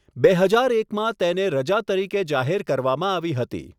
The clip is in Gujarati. બે હજાર એકમાં તેને રજા તરીકે જાહેર કરવામાં આવી હતી.